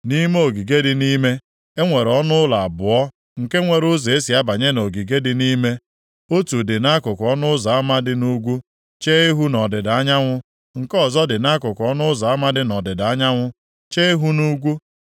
Nʼime ogige dị nʼime, e nwere ọnụụlọ abụọ nke nwere ụzọ e si abanye nʼogige dị nʼime. Otu dị nʼakụkụ ọnụ ụzọ ama dị nʼugwu, chee ihu nʼọdịda anyanwụ, nke ọzọ dị nʼakụkụ ọnụ ụzọ ama dị nʼọdịda anyanwụ, chee ihu nʼugwu.